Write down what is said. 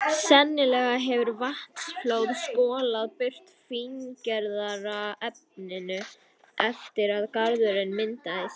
Sennilega hefur vatnsflóð skolað burt fíngerðara efninu eftir að garðurinn myndaðist.